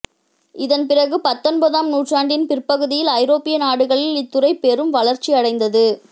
இதன்பிறகு பத்தொன்பதாம் நூற்றாண்டின் பிற்பகுதியில் ஐரோப்பிய நாடுகளில் இத்துறை பெரும் வளர்ச்சி அடைந்தது